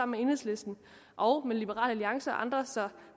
med enhedslisten og med liberal alliance og andre så